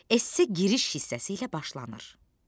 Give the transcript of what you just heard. Esse giriş hissəsi ilə başlanır.